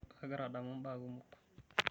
Kagira adamu mbaa kumok.